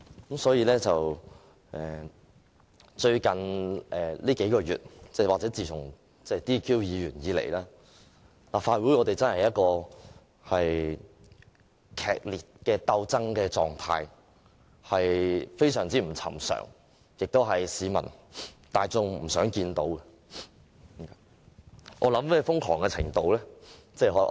近數月，又或自從有議員被取消資格以來，立法會處於劇烈鬥爭狀態，情況極不尋常，這是市民大眾不希望看到的。